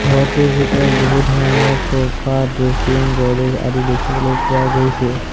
ঘৰটোৰ ভিতৰত বহুত ধৰণৰ চ'ফা ড্ৰেছিং গড্ৰেজ আদি দেখিবলৈ পোৱা গৈছে।